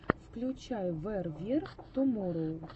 включай вэр вер туморроу